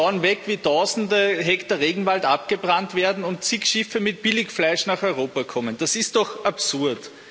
Wir schauen weg, wie tausende Hektar Regenwald abgebrannt werden und zig Schiffe mit Billigfleisch nach Europa kommen das ist doch absurd.